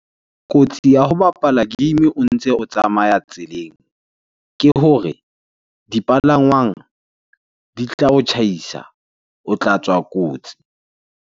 Kotsi ya ho bapala game o ntse o tsamaya tseleng ke hore dipalangwang di tla o tjhaisa, o tla tswa kotsi.